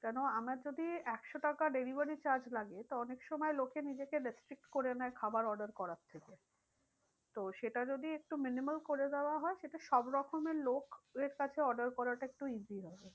কেন আমার যদি একশো টাকা delivery charge লাগে। তো অনেক সময় লোকে নিজেকে করে নেয় খাবার order করার থেকে। তো সেটা যদি একটু minimal করে দেওয়া হয় সেটা সব রকমের লোকে এর কাছে order করাটা একটু easy হবে।